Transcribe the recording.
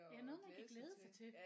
Ja noget man kan glæde sig til